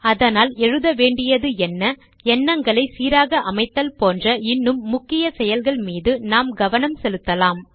அதனால் எழுத வேண்டியது என்ன எண்ணங்களை சீராக அமைத்தல் போன்ற இன்னும் முக்கிய செயல்கள் மீது நாம் கவனம் செலுத்தலாம்